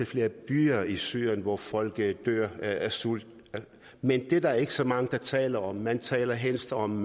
flere byer i syrien hvor folk dør af sult men det er der ikke så mange der taler om man taler helst om